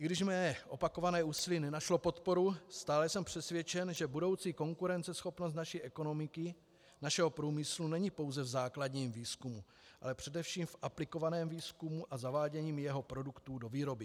I když mé opakované úsilí nenašlo podporu, stále jsem přesvědčen, že budoucí konkurenceschopnost naší ekonomiky, našeho průmyslu není pouze v základním výzkumu, ale především v aplikovaném výzkumu a zavádění jeho produktů do výroby.